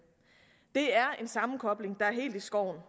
det er en sammenkobling der er helt i skoven